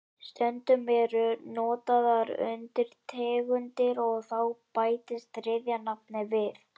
Stundum eru notaðar undirtegundir og þá bætist þriðja nafnið við.